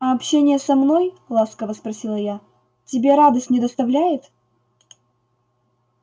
а общение со мной ласково спросила я тебе радость не доставляет